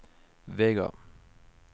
Vega